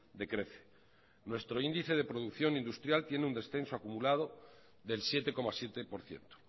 decrece nuestro índice de producción industrial tiene un descenso acumulado del siete coma siete por ciento